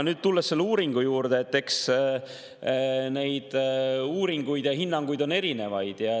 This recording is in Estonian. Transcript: Nüüd, tulles selle uuringu juurde, eks neid uuringuid ja hinnanguid on erinevaid.